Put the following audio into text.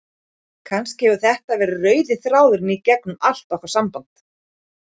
Kannski hefur þetta verið rauði þráðurinn í gegnum allt okkar samband.